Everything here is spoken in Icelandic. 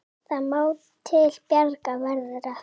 Hvað má til bjargar verða?